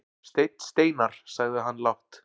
Steinn Steinarr, sagði hann lágt.